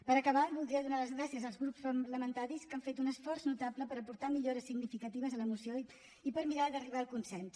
per acabar voldria donar les gràcies als grups parlamentaris que han fet un esforç notable per aportar millores significatives a la moció i per mirar d’arribar al consens